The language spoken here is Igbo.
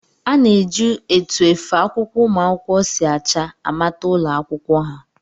A na-eji etu efe akwụkwọ ụmụ akwụkwọ si acha amata ụlọakwụkwọ ha